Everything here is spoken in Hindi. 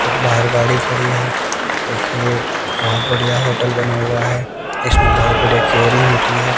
एक बाहर गाड़ी खड़ी है एक ये बहोत बढ़िया होटल बना हुआ है इसमें बहोत बढ़िया केयरिंग होती है।